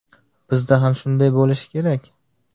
Bizda ham shunday bo‘lishi kerak.